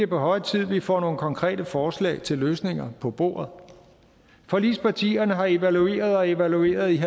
på høje tid vi får nogle konkrete forslag til løsninger på bordet forligspartierne har evalueret og evalueret i en